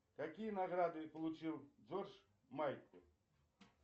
какие награды получил джордж майкл